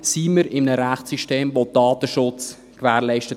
«Sind wir in einem Rechtssystem, das den Datenschutz gewährleistet?